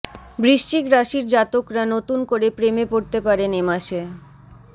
বৃশ্চিক রাশির জাতকরা নতুন করে প্রেমে পড়তে পারেন এ মাসে